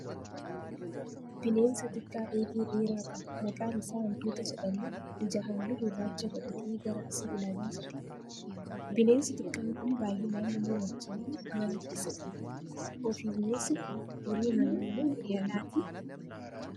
Bineensa xiqqaa eegee dheeraa qabu maqaan isa hantuuta jedhamu ija halluu gurraacha godhatee gara asii ilaalaa jira. Bineensi xiqqaan kun baayyinaan namaa wajjiin mana keessa jiraata. Ofii bineensi kun horii manaa moo horii alaatii?